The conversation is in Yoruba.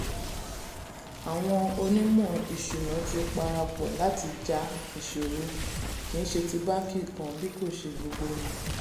àwọn onímọ̀ ìṣúná ti parapọ̀ láti ja ìṣòro; kì í ṣe ti báńkì kan bí kò ṣe gbogbo wọn